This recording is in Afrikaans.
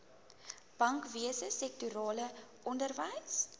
bankwese sektorale onderwys